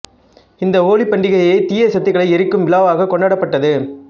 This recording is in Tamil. இந்த ஹோலிப் பண்டிகை தீய சக்திகளை எரிக்கும் விழாவாகக் கொண்டாடப்பட்டது